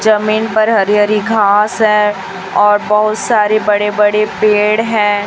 जमीन पर हरी हरी घास है और बहुत सारे बड़े बड़े पेड़ हैं।